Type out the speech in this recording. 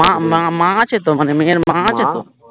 মা মা মা আছে তো মানে মেয়ের মা আছে তো?